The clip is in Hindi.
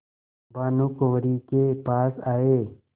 भानुकुँवरि के पास आये